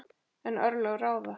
En örlög ráða.